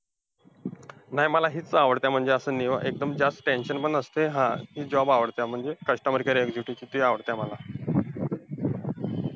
नाही मला हेच आवडतंय, म्हणजे असं निवा~ एकदम जास्त tension पण नसतंय, हा तेच job आवडतंय म्हणजे customer care executive चं ते आवडतंय मला.